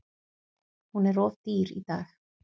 Hún er of dýr í dag.